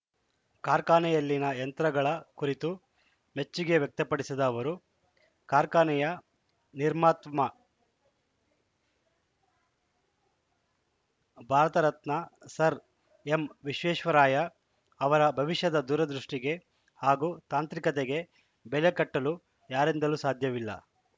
ಕಾರ್ಖಾನೆಯಲ್ಲಿನ ಯಂತ್ರಗಳ ಕುರಿತು ಮೆಚ್ಚುಗೆ ವ್ಯಕ್ತಪಡಿಸಿದ ಅವರು ಕಾರ್ಖಾನೆಯ ನಿರ್ಮಾತ್ಮ ಭಾರತರತ್ನ ಸರ್‌ ಎಂವಿಶ್ವೇಶ್ವರಾಯ ಅವರ ಭವಿಷ್ಯದ ದೂರದೃಷ್ಟಿಗೆ ಹಾಗೂ ತಾಂತ್ರಿಕತೆಗೆ ಬೆಲೆ ಕಟ್ಟಲು ಯಾರಿಂದಲೂ ಸಾಧ್ಯವಿಲ್ಲ